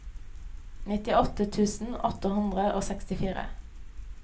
nittiåtte tusen åtte hundre og sekstifire